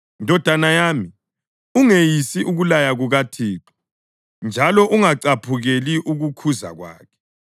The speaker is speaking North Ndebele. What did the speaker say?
Ndodana yami, ungeyisi ukulaya kukaThixo njalo ungacaphukeli ukukhuza kwakhe,